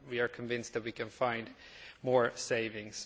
We are convinced that we can find more savings.